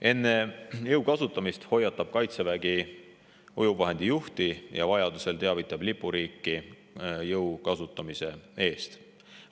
Enne jõu kasutamist hoiatab Kaitsevägi ujuvvahendi juhti ja vajaduse korral teavitab lipuriiki jõu kasutamise eest.